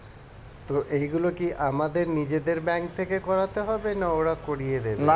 তো এইগুলো কি আমাদের নিজেদের bank থেকে করাতে হবে না ওরা করিয়ে দেবে?